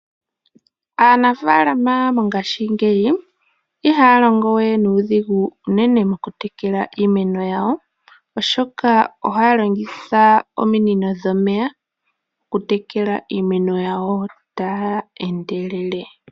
Aanafaalama mongaashingeyi ihaya longo we nuudhigu unene moku tekela iimeno yawo. Oshoka ohaya longitha ominino dhomeya oku tekela iimeno yawo taya endelele.